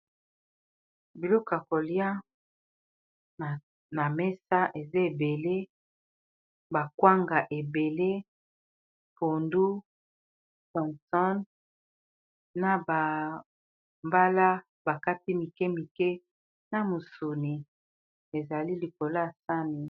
Biloko kolia na mesa eza ebele bakwanga ebele pondu tomsone na bambala bakati mike mike na musuni ezali likolo ya sani.